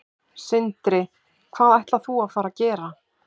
Sindri: Hvað ætlar þú að fara gera?